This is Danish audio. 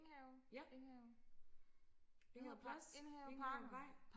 ja Enghave plads Enghave vej